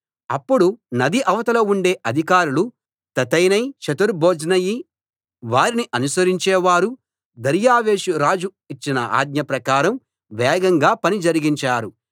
అప్పుడు నది ఇవతల ఉండే అధికారులు తత్తెనై షెతర్బోజ్నయి వారిని అనుసరించేవారు దర్యావేషు రాజు ఇచ్చిన ఆజ్ఞ ప్రకారం వేగంగా పని జరిగించారు